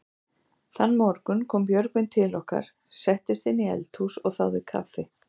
Þann morgun kom Björgvin til okkar, settist inn í eldhús og þáði kaffi.